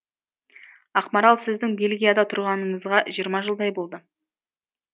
ақмарал сіздің бельгияда тұрғаныңызға жиырма жылдай болды